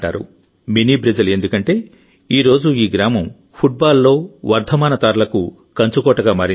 mini Brazil ఎందుకంటే ఈ రోజు ఈ గ్రామం ఫుట్బాల్ లో వర్ధమాన తారలకు కంచుకోటగా మారింది